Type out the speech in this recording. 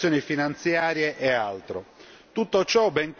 la trasparenza nelle operazioni finanziarie e